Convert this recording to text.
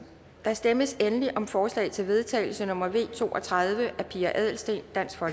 der stemmes endelig om forslag til vedtagelse nummer v to og tredive af pia adelsteen